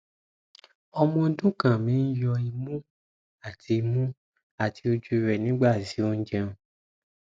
ọmọ ọdun kan mi n yọ imu ati imu ati oju rẹ nigbati o jẹun